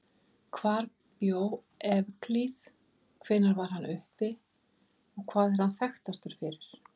Hvar bjó Evklíð, hvenær var hann uppi og hvað er hann þekktastur fyrir?